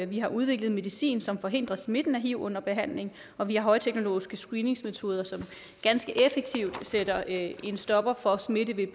vi har udviklet medicin som forhindrer smitten af hiv under behandlingen og vi har højteknologiske screeningsmetoder som ganske effektivt sætter en stopper for smitte ved